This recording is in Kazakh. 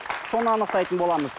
соны анықтайтын боламыз